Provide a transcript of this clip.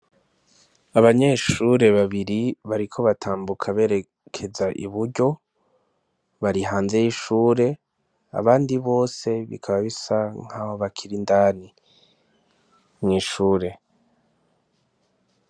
Abanyeshure babiri bariko batambuka berekeza iburyo, bari hanze y'ishure, abandi bose bikaba bisa nkaho bakir'indani mw'ishure.